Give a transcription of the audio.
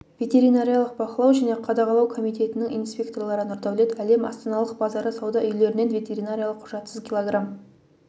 ветеринариялық бақылау және қадағалау комитетінің инспекторлары нұрдаулет әлем астаналық базары сауда үйлерінен ветеринариялық құжатсыз кг